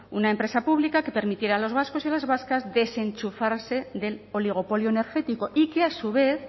una empresa pública que permitiera a los vascos y a las vascas desenchufarse del oligopolio energético y que a su vez